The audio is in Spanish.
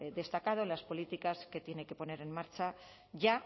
destacado en las políticas que tienen que poner en marcha ya